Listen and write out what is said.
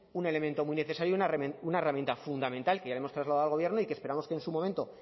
un elemento muy necesario y una herramienta fundamental que ya le hemos trasladado al gobierno y que esperamos que en su momento